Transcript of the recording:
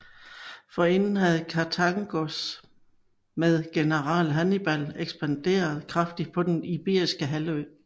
Forinden havde Karthagos med general Hannibal ekspanderet kraftigt på den iberiske halvø